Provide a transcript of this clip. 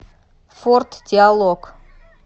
форт диалог